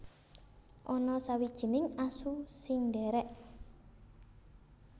Ana sawijining asu sing ndhèrèk